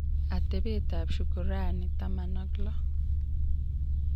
atebeetap Shukran-16: